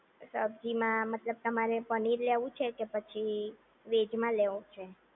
સબ્જીમાં મતલબ તમારે પનીર લેવું છે કે પછી વેજમાં લેવું છે